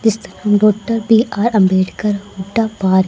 इसका नाम doctor B R Ambedkar Hooda park --